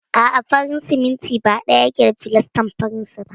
A'a, farin siminti ba ɗaya yake da filastar faransa ba.